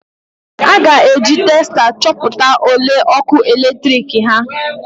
A ga-eji testa chọpụta ole ọkụ eletrik ha